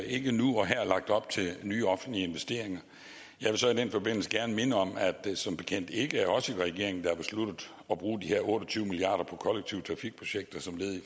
ikke nu og her lagt op til nye offentlige investeringer jeg vil så i den forbindelse gerne minde om at det som bekendt ikke er os i regeringen der har besluttet at bruge de her otte og tyve milliard kroner på kollektive trafikprojekter som led i